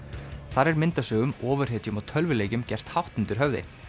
þar er myndasögum ofurhetjum og tölvuleikjum gert hátt undir höfði